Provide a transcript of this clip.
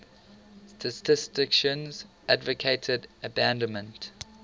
statisticians advocated abandonment